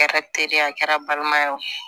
Kɛra teri ye a kɛra balimaya ye